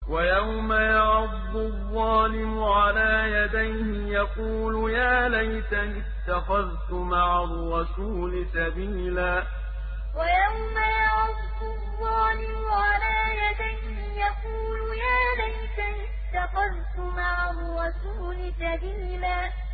وَيَوْمَ يَعَضُّ الظَّالِمُ عَلَىٰ يَدَيْهِ يَقُولُ يَا لَيْتَنِي اتَّخَذْتُ مَعَ الرَّسُولِ سَبِيلًا وَيَوْمَ يَعَضُّ الظَّالِمُ عَلَىٰ يَدَيْهِ يَقُولُ يَا لَيْتَنِي اتَّخَذْتُ مَعَ الرَّسُولِ سَبِيلًا